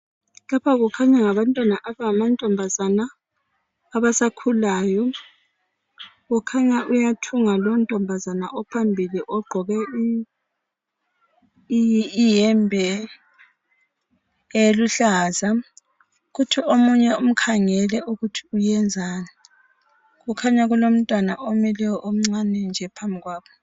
lapha kukhanya ngabantwana abangama ntombazana abasakhulayo kukhanya uyathunga lowu ntombazane ophambili ogqoke i yembe eluhlaza kuthi omunye umkhangele ukuthi uyenzani kukhanya kulomntwana omileyo omncane nje phambi kwabo